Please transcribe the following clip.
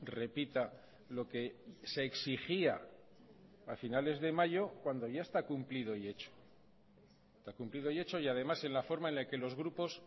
repita lo que se exigía a finales de mayo cuando ya está cumplido y hecho está cumplido y hecho y además en la forma en la que los grupos